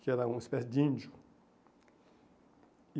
Que era uma espécie de índio. E